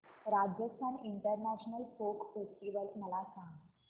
Rajasthan international folk festival मला सांग